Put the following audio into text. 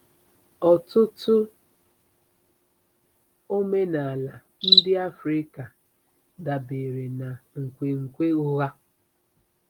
Ọtụtụ omenala ndị Africa dabeere na nkwenkwe ụgha.